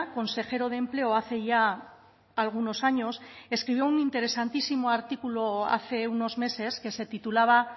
consejero de empleo hace ya algunos años escribió un interesantísimo artículo hace unos meses que se titulaba